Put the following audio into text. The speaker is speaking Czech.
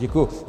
Děkuji.